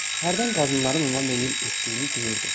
Hərdən qadınların ona meyil etdiyini duyurdu.